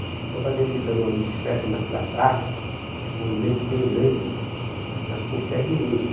Então eu fazia ele dando uma bicicleta ali naquela praça, um monumento bem grande, mas com o pé direito.